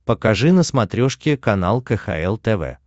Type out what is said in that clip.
покажи на смотрешке канал кхл тв